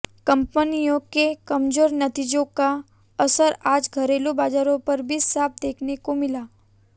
कंपनियों के कमजोर नतीजों का असर आज घरेलू बाजारों पर भी साफ देखने को मिला